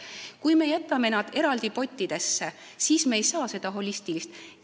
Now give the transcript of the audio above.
Kui me jätame nad eraldi pottidesse, siis me ei saa seda holistilist lähenemist.